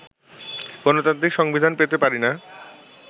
গণতান্ত্রিক সংবিধান পেতে পারি না